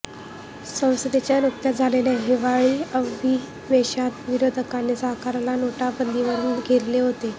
संसदेच्या नुकत्याच झालेल्या हिवाळी अधिवेशनात विरोधकांनी सरकारला नोटाबंदीवरून घेरले होते